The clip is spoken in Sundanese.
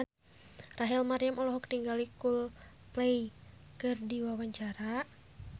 Rachel Maryam olohok ningali Coldplay keur diwawancara